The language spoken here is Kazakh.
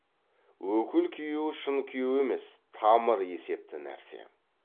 өкіл күйеуі шын күйеу емес тамыр есепті нәрсе